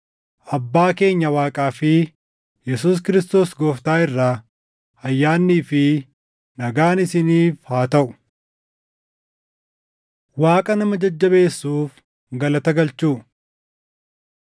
Abbaa keenya Waaqaa fi Yesuus Kiristoos Gooftaa irraa ayyaannii fi nagaan isiniif haa taʼu. Waaqa Nama Jajjabeessuuf Galata Galchuu